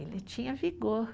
Ele tinha vigor.